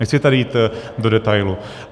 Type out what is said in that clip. Nechci tady jít do detailu.